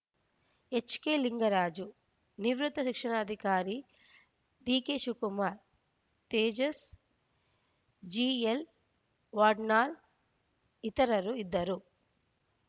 ಎಚ್‌ಕೆಲಿಂಗರಾಜು ನಿವೃತ್ತ ಶಿಕ್ಷಣಾಧಿಕಾರಿ ಡಿಕೆಶಿವಕುಮಾರ ತೇಜಸ್‌ ಜಿಎಲ್‌ವಡ್ನಾಳ್‌ ಇತರರು ಇದ್ದರು